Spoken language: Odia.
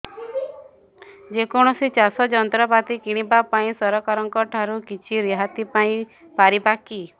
ଯେ କୌଣସି ଚାଷ ଯନ୍ତ୍ରପାତି କିଣିବା ପାଇଁ ସରକାରଙ୍କ ଠାରୁ କିଛି ରିହାତି ପାଇ ପାରିବା କି